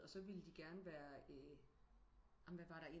Og så ville de gerne være amen hvad var der